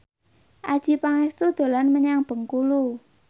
Adjie Pangestu dolan menyang Bengkulu